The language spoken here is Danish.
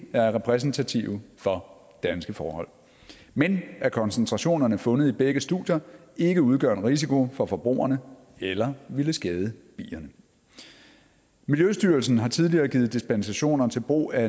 er repræsentative for danske forhold men at koncentrationerne fundet i begge studier ikke udgør en risiko for forbrugerne eller ville skade bierne miljøstyrelsen har tidligere givet dispensationer til brug af